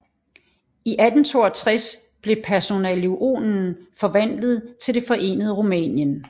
I 1862 blev personalunionen forvandlet til det forenede Rumænien